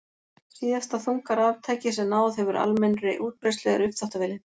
Síðasta þunga raftækið sem náð hefur almennri útbreiðslu er uppþvottavélin.